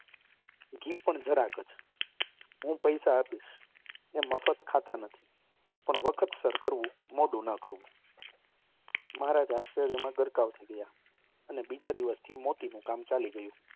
ઘી પણ જરાક જ. હું પૈસા આપીશ. એ મફત ખાતાં નથી. પણ વખતસર કરવું. મહારાજ આશ્ચર્યમાં ગરકાવ થઈ ગયા. અને બીજા દિવસથી મોતીનું કામ ચાલી ગયુ.